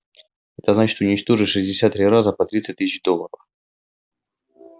это значит уничтожить шестьдесят три раза по тридцать тысяч долларов